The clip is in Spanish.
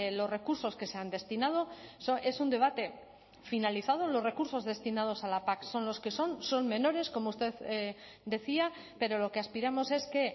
los recursos que se han destinado es un debate finalizado los recursos destinados a la pac son los que son son menores como usted decía pero lo que aspiramos es que